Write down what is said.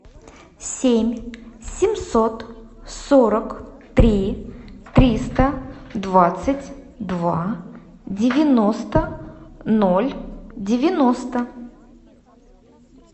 семь семьсот сорок три триста двадцать два девяносто ноль девяносто